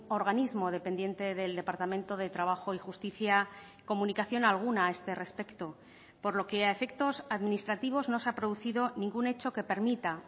organismo dependiente del departamento de trabajo y justicia comunicación alguna a este respecto por lo que a efectos administrativos no se ha producido ningún hecho que permita